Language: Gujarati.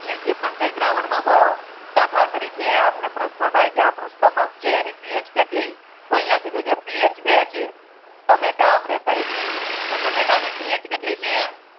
જે પણ કાય દ્રવણ માં દાખાલા તારીકે પ્રશ્ના થાય આપનુ સ્ટોમાક છે એની PH કેતલી થી આહિયા કીધુ છે કે PH બે તમેટા આપડે કહીયે તમેટા ની PH કેતલી છે